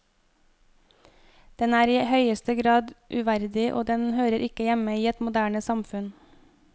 Den er i høyeste grad uverdig, og den hører ikke hjemme i et moderne samfunn.